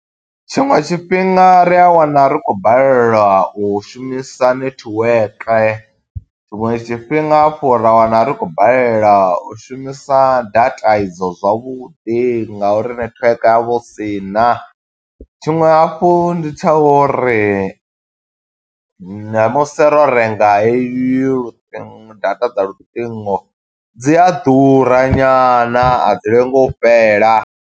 Tshiṅwe tshifhinga ri a wana ri khou balelwa u shumisa netiweke, tshiṅwe tshifhinga hafhu ra wana ri khou balelwa u shumisa data i dzo zwavhuḓi nga uri netiweke ha vha hu sina. Tshiṅwe hafhu ndi tsha uri, na musi ro renga he yo data dza luṱingo, dzi a ḓura nyana, a dzi lengi u fhela.